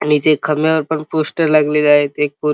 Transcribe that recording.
आणि जे खंब्यावर पण पोस्टर लागलेले आहे ते.